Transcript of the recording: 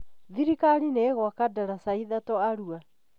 Thirikari nĩ ĩgwaka ndataca ithatũ Arũa